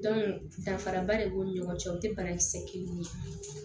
danfaraba de b'u ni ɲɔgɔn cɛ o tɛ banakisɛ kelenw ye